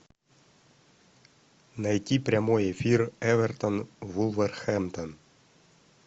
найти прямой эфир эвертон вулверхэмптон